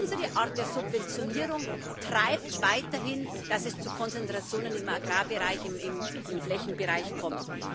Unsere Art der Subventionierung treibt weiterhin, dass es zu Konzentrationen im Agrarbereich, im Flächenbereich kommt.